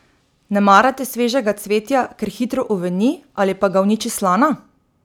Ne marate svežega cvetja, ker hitro uveni ali pa ga uniči slana?